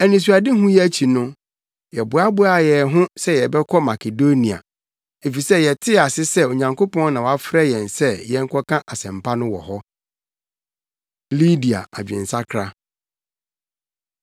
Anisoadehu yi akyi no, yɛboaboaa yɛn ho sɛ yɛbɛkɔ Makedonia, efisɛ yɛtee ase sɛ Onyankopɔn na wafrɛ yɛn sɛ yɛnkɔka asɛmpa no wɔ hɔ. Lidia Adwensakra